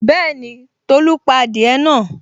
Bẹ́ẹ̀ni, Tolu pa adìẹ náà